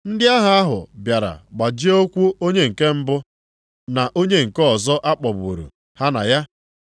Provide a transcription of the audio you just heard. Ndị agha ahụ bịara gbajie ụkwụ onye nke mbụ na onye nke ọzọ a kpọgburu ha na ya.